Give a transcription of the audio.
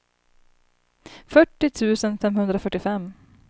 fyrtio tusen femhundrafyrtiofem